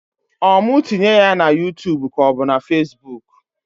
Ọ mụ tinye ya na yuutub k'ọ bụ na fesbuk?